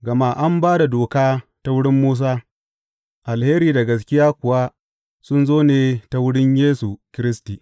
Gama an ba da doka ta wurin Musa; alheri da gaskiya kuwa sun zo ne ta wurin Yesu Kiristi.